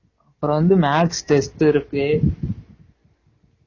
அப்பறம் வந்து maths test இருக்கு